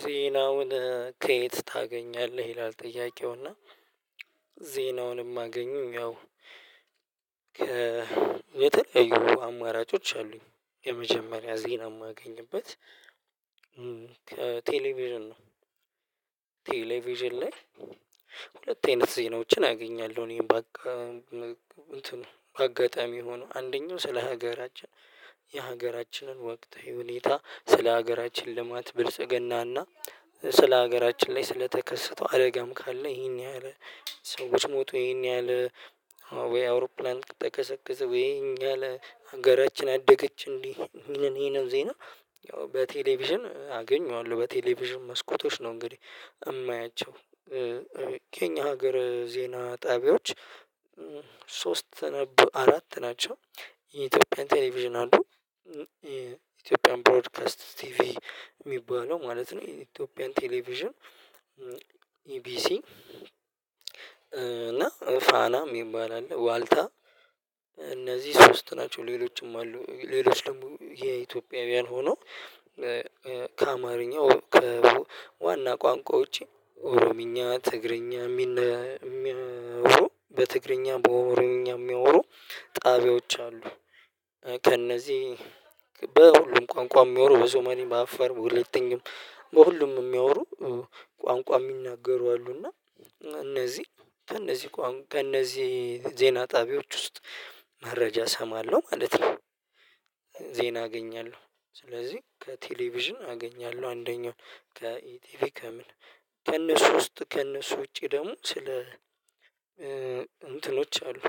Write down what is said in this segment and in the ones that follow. ዜናውን ከየት ታገኛለህ ይላል? ጥያቄው እና ዜናውን የማገኘሁ ያው የተለያዩ አማራጮች አሉኝ የመጀመሪያ ዜና የማገኝበት ቴሌቪዥን ነው። ቴሌቪዥን ላይ ሁለት አይነት ዜናዎችን አገኛለሁ እኔም በቃ እንትን በአጋጣሚ የሆነ አንደኛው ስለ ሀገራችን የሀገራችንን ወቅትዊ ሁኔታ ስለ ሀገራችን ልማት ብልጽግናና ስለ ሀገራችን ላይ ስለተከሰተው አደጋም ካለ ይሄን ያህል ሰዎች ሞቶ ይሄን ያህል ወይ አውሮፕላን ተከሰከሰ ወይ ይሄን ያህል ሀገራችን አደገች እንዴ ይሄንን ዜና ያው በቴሌቪዥን አገኘዋለሁ በቴሌቪዥን መስኮቶች ነው እንግዲህ የማያቸው እማያቸው። ከእኛ ሀገር ዜና ጣቢያዎች ሶስት ነበር አራት ናቸው። የኢትዮጵያ ቴሌቪዥን አሉ የኢትዮጵያ ብሮድካስት ቲቪ የሚባለው ማለት ነው። ኢትዮጵያን ቴሌቪዥን ኢቢሲ እና ፋና የሚባል አለ ዋልታ እነዚህ ሶስት ናቸው ሌሎችም አሉ። ሌሎች ደግሞ የኢትዮጵያውያን ሆኖ ከአማርኛ ከዋና ቋንቋ ውጪ ኦሮምኛ ትግርኛ የሚኖሩ በትግርኛ በኦሮምኛ የሚያወሩ ጣቢያዎች አሉ። ከእነዚህ በሁሉም ቋንቋ የሚሆኑ በሱማሌ በአፋር በወላይተኛም በሁሉም የሚያወሩ ቋንቋ የሚናገሩ አሉ እና እነዚህ ከእነዚህ ከእነዚህ ዜና ጣቢያዎች ውስጥ መረጃ እሰማለሁ ማለት ነው። ዜና አገኛለሁ ስለዚህ ከቴሌቪዥን አገኛለሁ አንደኛው ከኢቲቪ ከምን ከእነሱ ውስጥ ከእነሱ ውጪ ደግሞ ስለ እንትኖች አሉ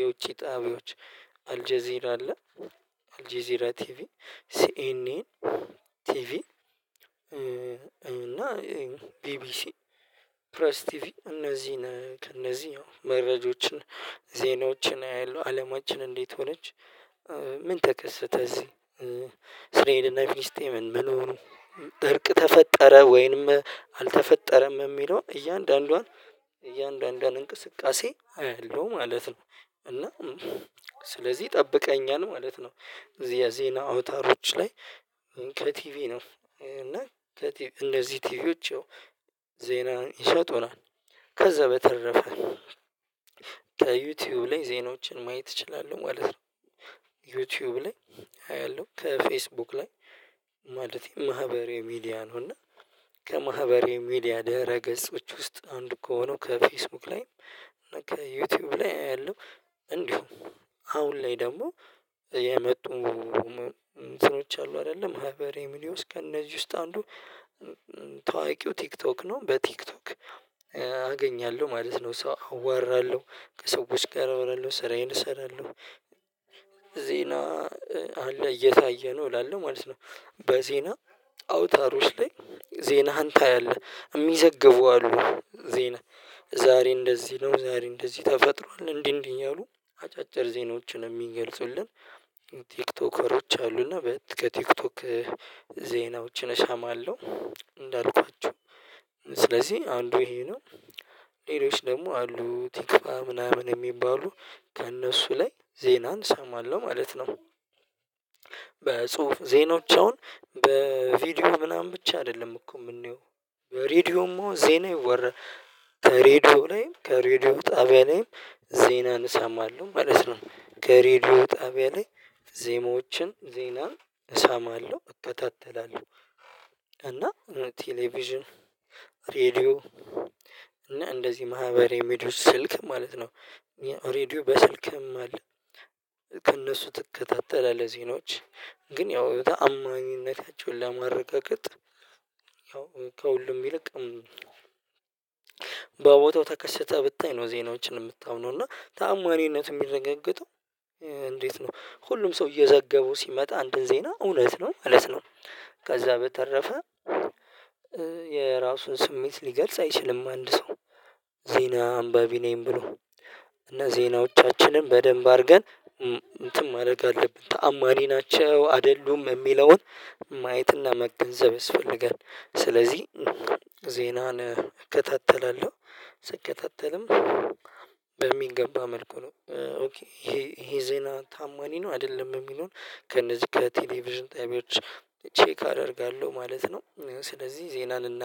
የውጪ ጣቢያዎች አልጄዚራ አለ። አልጄዚራ ቲቪ ሲኤንኤን ቲቪ እና ቢቢሲ ፕሬስ ቲቪ እነዚህን ከእነዚህ መረጃዎችን ዜናዎችን አያለው አለማችን እንዴት ሆነች? ምን ተከስተ እዚህ እስራእል እና ፍልስጠምን ምን ሆኑ? እርቅ ተፈጠረ ወይንም አልተፈጠረም የሚለው እያንዳንዷን እያንዳንዷን እንቅስቃሴ አይላው ማለት ነው። እና ስለዚህ ጠብቀኛል ማለት ነው። የዜና አውታሮች ላይ ከቲቪ ነው እና እነዚህ ቲቪዎች ዜና ይሰጡናል ከዛ በተረፈ ከዩቲዩብ ላይ ዜናዎችን ማየት እችላለሁ ማለት ነው። ዩቲዩብ ላይ አያለሁ ከፌስቡክ ላይ ማለቴ ማህበራዊ ሚዲያ ነው። እና ከማህበራዊ ሚዲያ ደረገጾች ውስጥ አንዱ ከሆነው ከፌስቡክ ላይ ከዩቲዩብ ላይ አያለሁ። እንዲሁም አሁን ላይ ደግሞ የመጡ ስሮች አሉ አይደለም ማህበራዊ ሚድያ ዉስጥ ከእነዚህ ውስጥ አንዱ ታዋቂው ቲክቶክ ነው በቲክቶክ አገኛለሁ ማለት ነው። ሰው አወራለሁ ከሰዎች ጋር አወራለሁ ስራዬን እሰራለሁ ዜና አለ እየታየ ነው እላለሁ ማለት ነው። በዜና አውታሮች ላይ ዜናህን ታያለህ የሚዘግቡ አሉ ዜና ዛሬ እንደዚህ ነው ዛሬ እንደዚህ ተፈጥሯል እንዲህ እንዲህ አሉ አጫጭር ዜናዎችን የሚገልጹልን ቲክቶከሮች አሉና ከቲክቶክ ዜናዎችን እሰማለሁ። እንዳልኳችሁ ስለዚህ አንዱ ይሄ ነው። ሌሎች ደግሞ አሉ ቲክቫ የሚባሉ ከእነሱ ላይ ዜናን እሰማለሁ ማለት ነው። በጽሁፍ ዜኖዎች አሁን በቪዲዮ ምናምን ብቻ አይደለም እኮ የምንየው በሬድዮም አሁን ዜና ይወራል። ከሬድዮ ላይም ከሬድዮ ጣቢያ ላይም ዜናን እሰማለው ማለት ነው። ከሬድዮ ጣቢያ ላይ ዜማዎችን ዜና እሰማለሁ እከታተላለሁ እና ቴሌቪዥን ሬድዮ እና እንደዚህ ማህበር ሚዲያ ስልክ ማለት ነው። ሬድዮ በስልክም አለ። ከእነሱ ትከታተላለህ ዜኖች ግን ያው ተአማኝነታቸውን ለማረጋገጥ ያው ከሁሉም ይልቅም በቦታው ተከስተህ ብታይ ነው ዜናዎችን የምታምነው እና ተአማኒነቱ የሚረጋገጠው። እንዴት ነው? ሁሉም ሰው እየዘገቡ ሲመጣ አንድን ዜና እውነት ነው ማለት ነው። ከዛ በተረፈ የራሱን ስሜት ሊገልጽ አይችልም አንድ ሰው ዜና አንባቢ ነኝ ብሎ እና ዜናዎቻችንን በደንብ አድርገን እንትን ማድረግ አለብን ተአማኒ ናቸው አይደሉም የሚለውን ማየትና መገንዘብ ያስፈልጋል። ስለዚህ ዜናን እከታተላለሁ። ስከታተልም በሚገባ መልኩ ነው ይሄ ዜና ታማኒ ነው አይደለም የሚለውን ከነዚህ ከቴሌቪዥን ጣቢያዎች ቼክ አደርጋለሁ ማለት ነው። ስለዚህ ዜናን እናደርግ